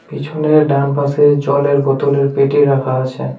পিছনে ডানপাশে জলের বোতলের পেটি রাখা আছে।